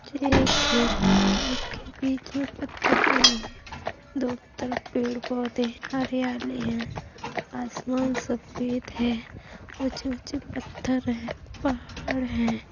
यह एक खेत है। खेत के बीच में पत्थर पड़े हैं दोनों तरफ पेड़-पौधे हैं। हरेयली है। आसमान सफेद है। ऊंचे-ऊंचे पत्थर है। पहाड़ है।